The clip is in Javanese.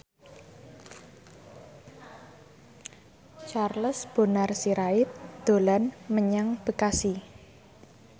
Charles Bonar Sirait dolan menyang Bekasi